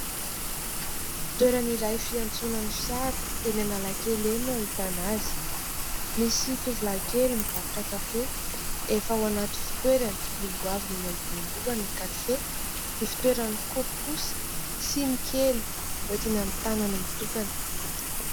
Fitoerany iray fiantsonan'ny fiara eny Analakely eny no ahitana azy. Misy tovilahy kely mivarotra kafe efa ao anaty fitoerany lolohaviny eny ambony lohany ny kafe, ny fitoerany kaopy kosa siny kely hoentiny amin'ny tanany mitokana.